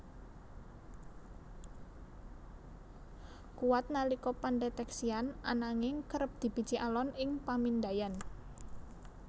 kuwat nalika pandhetèksian ananging kerep dibiji alon ing pamindaian